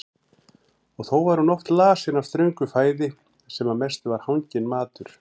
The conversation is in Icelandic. Og þó var hún oft lasin af ströngu fæði sem að mestu var hanginn matur.